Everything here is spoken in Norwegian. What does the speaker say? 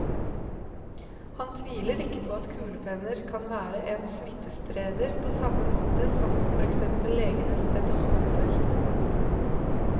Han tviler ikke på at kulepenner kan være en smittespreder, på samme måte som for eksempel legenes stetoskoper.